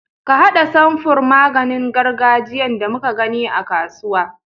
Ka haɗa samfurn maganin gargajiyan da muka gani a kasuwa.